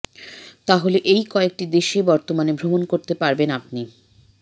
তাহলে এই কয়েকটি দেশে বর্তমানে ভ্রমণ করতে পারবেন আপনি